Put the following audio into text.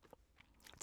TV 2